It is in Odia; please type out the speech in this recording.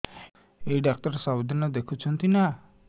ଏଇ ଡ଼ାକ୍ତର ସବୁଦିନେ ଦେଖୁଛନ୍ତି ନା